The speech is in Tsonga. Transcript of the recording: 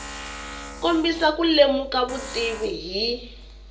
kombisa ku lemuka vutivi hi